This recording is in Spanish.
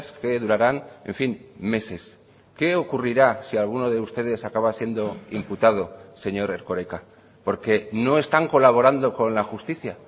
que durarán en fin meses qué ocurrirá si alguno de ustedes acaba siendo imputado señor erkoreka porque no están colaborando con la justicia